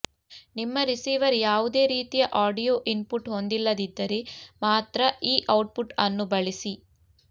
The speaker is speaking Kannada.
ನಿಮ್ಮ ರಿಸೀವರ್ ಯಾವುದೇ ರೀತಿಯ ಆಡಿಯೊ ಇನ್ಪುಟ್ ಹೊಂದಿಲ್ಲದಿದ್ದರೆ ಮಾತ್ರ ಈ ಔಟ್ಪುಟ್ ಅನ್ನು ಬಳಸಿ